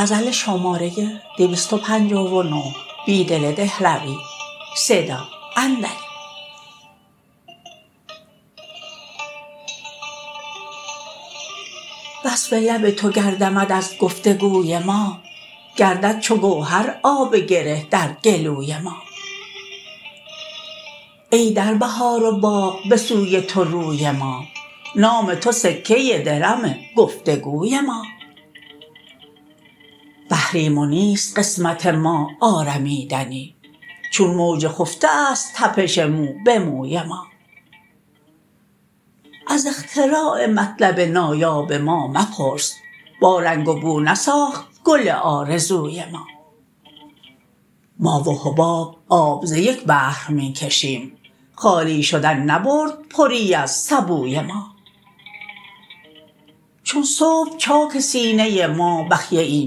وصف لب توگر دمد ازگفتگوی ما گردد چوگوهر آب گره درگلوی ما ای دربهار و باغ به سوی توروی ما نام تو سکه درم گفتگوی ما بحریم ونیست قسمت ما آرمیدنی چون موج خفته است تپش موبه موی ما از اختراع مطلب نایاب ما مپرس با رنگ و بو نساخت گل آرزوی ما ما وحباب آب زیک بحرمی کشیم خالی شدن نبرد پری از سبوی ما چون صبح چاک سینه ما بخیه ای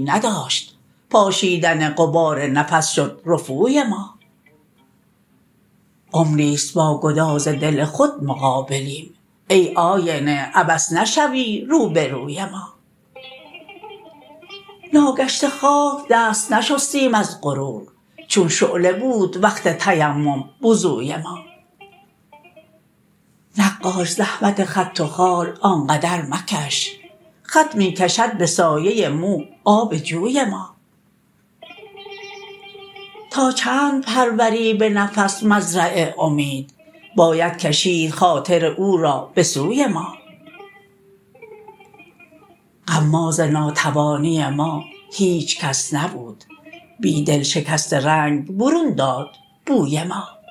نداشت پاشیدن غبار نفس شد رفوی ما عمری ست باگداز دل خود مقابلیم ای آینه عبث نشوی روبروی ما ناگشته خاک دست نشستیم از غرور چون شعله بود وقف تیمم وضوی ما نقاش زحمت خط و خال آنقدر مکش خط می کشد به سایه موآب جوی ما تا چند پروری به نفس مزرع امید بایدکشید خاطر او را به سوی ما غماز ناتوانی ما هیچکس نبود بیدل شکست رنگ برون داد بوی ما